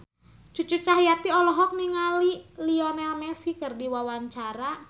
Cucu Cahyati olohok ningali Lionel Messi keur diwawancara